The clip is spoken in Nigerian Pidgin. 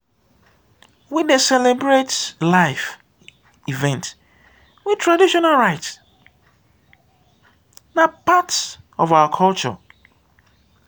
we dey celebrate life events with traditional rites; na part of our culture.